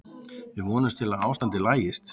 Við vonumst til að ástandið lagist.